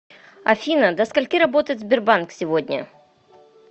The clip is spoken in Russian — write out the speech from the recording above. афина до скольки работает сбербанк сегодня